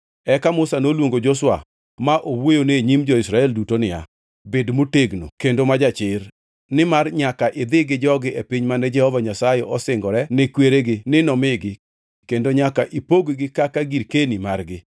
Eka Musa noluongo Joshua ma owuoyone e nyim jo-Israel duto niya, “Bed motegno kendo ma jachir, nimar nyaka idhi gi jogi e piny mane Jehova Nyasaye osingore ne kweregi ni nomigi kendo nyaka ipog-gi kaka girkeni margi.